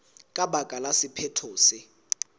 ka baka la sephetho se